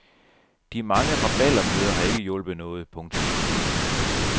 De mange rabaldermøder har ikke hjulpet noget. punktum